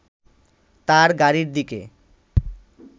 তার গাড়ির দিকে